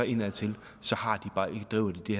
indadtil driver de